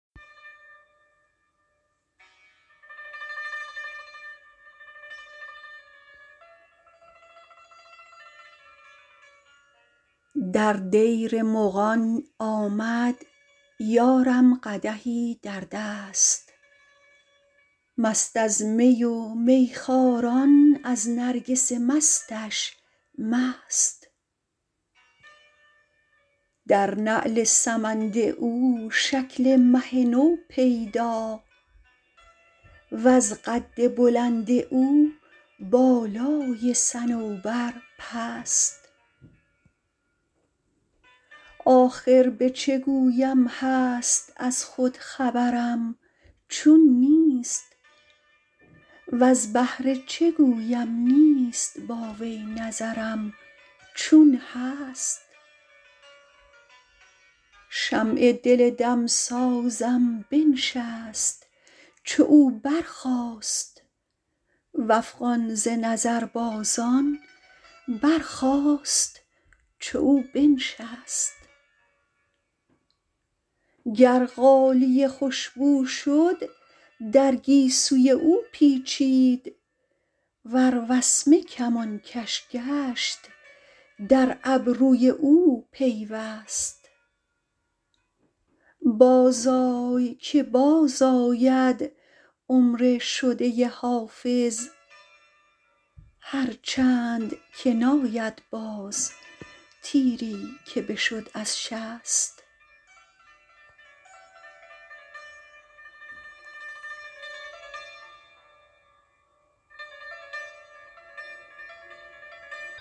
در دیر مغان آمد یارم قدحی در دست مست از می و میخواران از نرگس مستش مست در نعل سمند او شکل مه نو پیدا وز قد بلند او بالای صنوبر پست آخر به چه گویم هست از خود خبرم چون نیست وز بهر چه گویم نیست با وی نظرم چون هست شمع دل دمسازم بنشست چو او برخاست و افغان ز نظربازان برخاست چو او بنشست گر غالیه خوش بو شد در گیسوی او پیچید ور وسمه کمانکش گشت در ابروی او پیوست بازآی که بازآید عمر شده حافظ هرچند که ناید باز تیری که بشد از شست